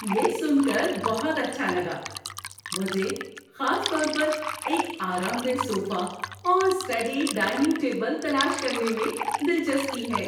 یہ سن کر بہت اچھا لگا! مجھے خاص طور پر ایک آرام دہ صوفہ اور اسٹڈی ڈائننگ ٹیبل تلاش کرنے میں دلچسپی ہے۔